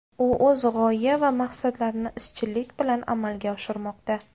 U o‘z g‘oya va maqsadlarini izchillik bilan amalga oshirmoqda.